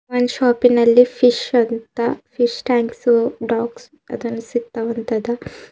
ಈ ಶಾಪಿನಲ್ಲಿ ಫಿಶ್ ಅಂತ ಫಿಶ್ ಟ್ಯಾಂಕ್ಸ್ ಡಾಗ್ಸ್ ಅದರ ಸಿಗ್ತಾವಂತದ.